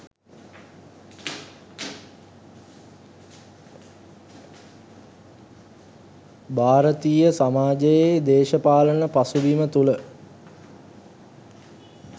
භාරතීය සමාජයේ දේශපාලන පසුබිම තුළ